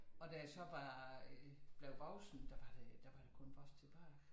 Og da jeg så var øh blev voksen der var der da var der kun vores tilbage